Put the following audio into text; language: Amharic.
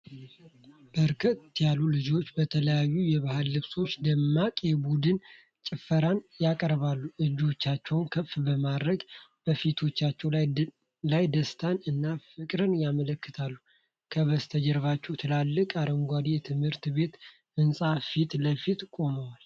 በርካታ ልጆች በተለያዩ የባህል ልብሶች ደማቅ የቡድን ጭፈራ ያቀርባሉ። እጆቻቸውን ከፍ በማድረግ በፊቶቻቸው ላይ ደስታን እና ፍቅርን ያመለክታሉ፤ ከበስተጀርባ ትልቅና አረንጓዴ የትምህርት ቤት ህንጻ ፊት ለፊት ቆመዋል።